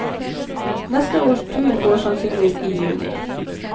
Neste års tur går sannsynligvis i juni.